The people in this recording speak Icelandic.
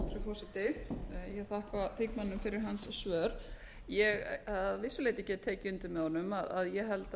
ég þakka þingmanninum fyrir hans svör ég get að vissu leyti tekið undir með honum að ég held